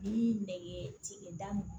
Ni nɛgɛ sigin da